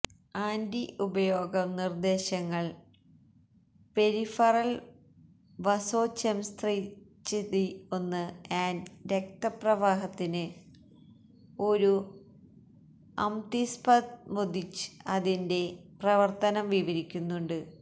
anti ഉപയോഗം നിർദ്ദേശങ്ങൾ peripheral vasoconstriction and രക്തപ്രവാഹത്തിന് ഒരു അംതിസ്പസ്മൊദിച് അതിന്റെ പ്രവർത്തനം വിവരിക്കുന്നുണ്ട്